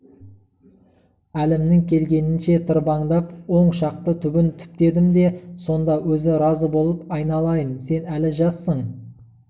әлімнің келгенінше тырбаңдап он шақты түбін түптедім де сонда өзі разы болып айналайын сен әлі жассың